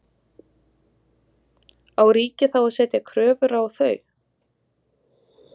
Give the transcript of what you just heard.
Á ríkið þá að setja kröfur á þau?